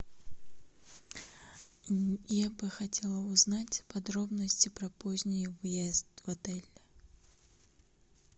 я бы хотела узнать подробности про поздний въезд в отель